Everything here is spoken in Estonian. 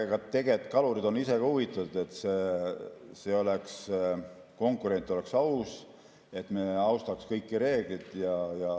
Aga tegelikult on kalurid ise ka huvitatud, et konkurents oleks aus, et me austaks kõiki reegleid.